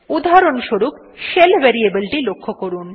উদাহরণস্বরূপ shell variable টি লক্ষ্য করুন